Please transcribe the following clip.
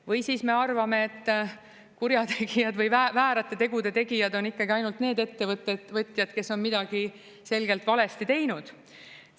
Või siis me arvame, et kurjategijad või väärate tegude tegijad on ikkagi ainult need ettevõtjad, kes on midagi selgelt valesti teinud.